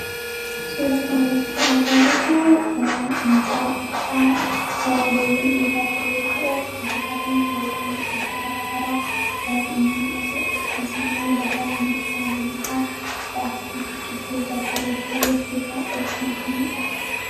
sulatmerkaalitu gaa qucaa saya dooyyan wootaa joyyoo ta'uu gubakaati bobaan osa garaa garaa mul'atu akkasumasimoo lafa meerkaa labisaa a akkasumas bicciduu baggareedduu wakkeesaa dobatunittiin muldha